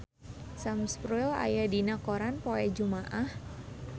Sam Spruell aya dina koran poe Jumaah